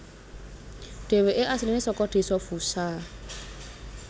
Dhéwéké asliné saka Desa Fusha